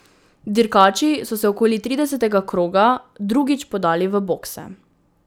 Dirkači so se okoli tridesetega kroga drugič podali v bokse.